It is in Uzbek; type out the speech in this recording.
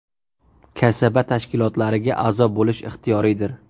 Kasaba tashkilotlariga a’zo bo‘lish ixtiyoriydir’.